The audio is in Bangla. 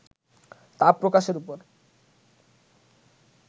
তা প্রকাশের উপর